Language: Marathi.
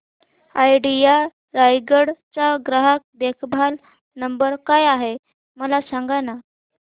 आयडिया रायगड चा ग्राहक देखभाल नंबर काय आहे मला सांगाना